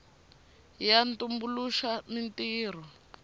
ya tumbuluxa mintirho